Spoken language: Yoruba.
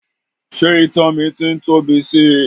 Ṣé ìtan mi ti ń tóbi sí i?